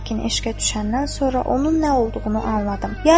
Lakin eşqə düşəndən sonra onun nə olduğunu anladım.